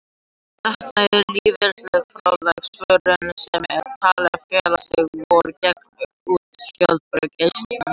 Þetta er lífeðlisfræðileg svörun sem er talin fela í sér vörn gegn útfjólubláum geislum sólar.